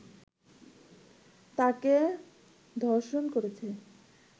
তাকে ধর্ষণ করছে